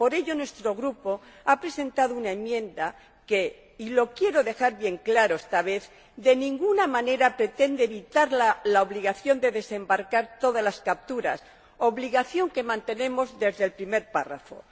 Por ello, nuestro Grupo ha presentado una enmienda que y lo quiero dejar bien claro esta vez de ninguna manera pretende evitar la obligación de desembarcar todas las capturas, obligación que mantenemos desde el primer párrafo.